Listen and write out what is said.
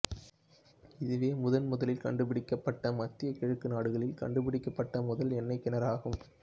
இதுவே முதன் முதலில் கண்டு பிடிக்கப்பட்ட மத்திய கிழக்கு நாடுகளில் கண்டுபிடிக்கப்பட்ட முதல் எண்ணெய் கிணறு ஆகும்